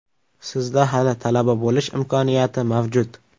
Sizda hali talaba bo‘lish imkoniyati mavjud!